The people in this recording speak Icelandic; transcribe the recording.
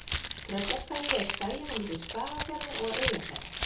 Tröllaskagi er skaginn á milli Skagafjarðar og Eyjafjarðar.